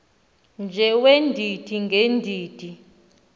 nje weendidi ngeendidi